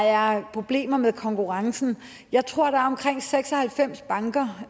er problemer med konkurrencen jeg tror at der er omkring seks og halvfems banker